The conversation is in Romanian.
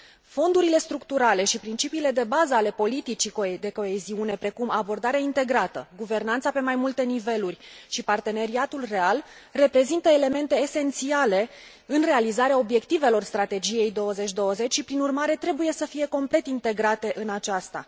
Fondurile structurale și principiile de bază ale politicii de coeziune, precum abordarea integrată, guvernanța pe mai multe niveluri și parteneriatul real, reprezintă elemente esențiale în realizarea obiectivelor Strategiei 2020 și, prin urmare, trebuie să fie complet integrate în aceasta.